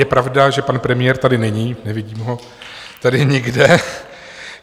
Je pravda, že pan premiér tady není, nevidím ho tady nikde.